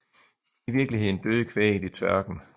I virkeligheden døde kvæget i tørken